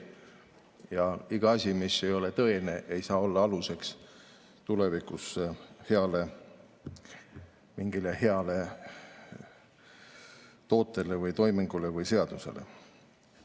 Ja ükski asi, mis ei ole tõene, ei saa tulevikus olla aluseks mingile heale tootele või toimingule või seadusele.